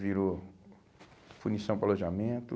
Virou punição para o alojamento.